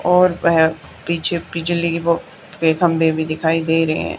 और वह पीछे बिजलीके वो वे दिखाई दे रहे हैं।